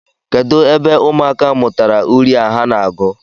Kedụ ebe ụmụaka a mụtara uri a ha na-agụ?